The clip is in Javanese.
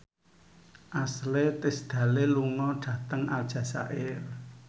Ashley Tisdale lunga dhateng Aljazair